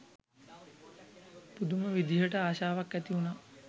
පුදුම විදිහට ආශාවක් ඇති වුණා